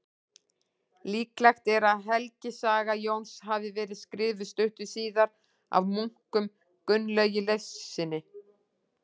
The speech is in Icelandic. Líklegt er að helgisaga Jóns hafi verið skrifuð stuttu síðar af munknum Gunnlaugi Leifssyni.